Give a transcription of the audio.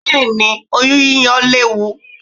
Bẹ́ẹ̀ni, oyún yíyọ léwu.